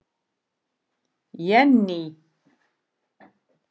Jenný